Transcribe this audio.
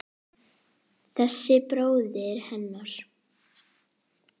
Þessi bróðir hennar!